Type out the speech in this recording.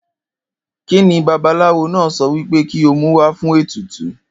Kíni babaláwo náà so̩ wí pé kí ó mú wá fún ètùtù?